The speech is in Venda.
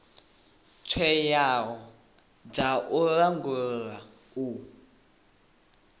tswayo dza u langula u